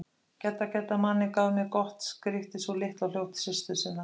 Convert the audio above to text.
Gedda, Gedda, manninn gaf mé gott skríkti sú litla og hljóp til systur sinnar.